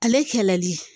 Ale kɛlɛli